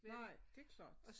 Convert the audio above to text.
Nej det klart